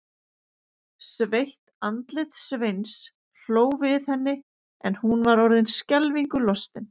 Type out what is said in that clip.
Sveitt andlit Sveins hló við henni en hún var orðin skelfingu lostin.